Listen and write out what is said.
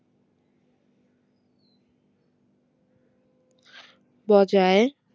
বজায়